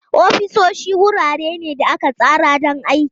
Ofisoshi wurare ne da aka tsara don aiki.